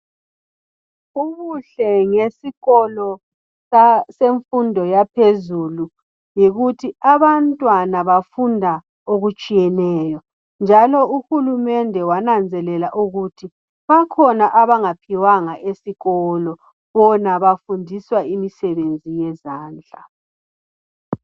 ubuhle ngesikolo semfundo yaphezulu yikuthi abantwana bafunda okutshiyeneyo njalo uhulumende wananzelela ukuthi bakhona abangaphiwanga esikolo bona bafundiswa imisebenzi yezandla